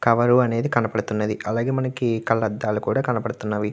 Cover అనేది కనబడుతూ వుంది ఒక తాడు కూడా కనబడుతున్నది.